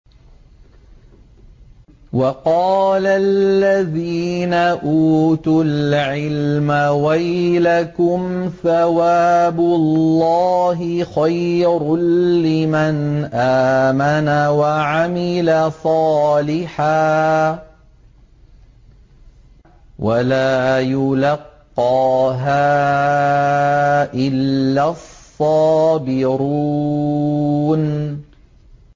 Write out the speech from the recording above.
وَقَالَ الَّذِينَ أُوتُوا الْعِلْمَ وَيْلَكُمْ ثَوَابُ اللَّهِ خَيْرٌ لِّمَنْ آمَنَ وَعَمِلَ صَالِحًا وَلَا يُلَقَّاهَا إِلَّا الصَّابِرُونَ